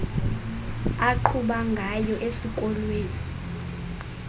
aqhuba ngayo esikolweni